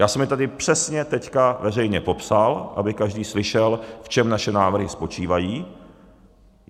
Já jsem je tady přesně teď veřejně popsal, aby každý slyšel, v čem naše návrhy spočívají.